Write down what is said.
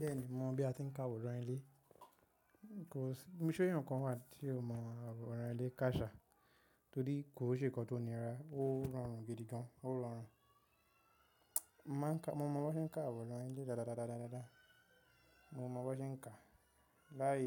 Bẹ́ẹ̀ni mò mọ̀ bí a ti n ká àwòrán ilé, se eeyan kan wà tí o mọ àwòrán ilé káa sá torí kò ṣe nǹkan tó nira, ó rọrùn gidi gan, ó rọrùn. Mo ma n ká, mo mọ bí wọ́n ṣe ń ká àwòrán ilé dádadáda, mo mọ bí wọ́n ṣe ń ká, láì